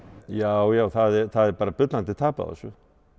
já já það er bara bullandi tap á þessu